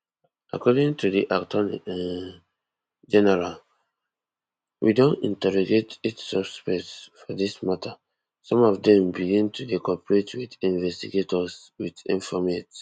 according to di attorney um general we don interrogate eight suspects for dis mata some of dem begin to dey cooperate wit investigators wit informate